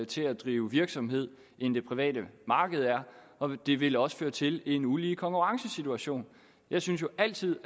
til at drive virksomhed end det private marked er og det ville også føre til en ulige konkurrencesituation jeg synes jo altid